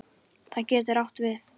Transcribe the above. Það getur átt við